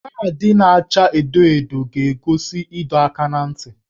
Kaadị na-acha edo edo ga-egosi ịdọ aka ná ntị